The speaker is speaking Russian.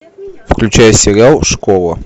включай сериал школа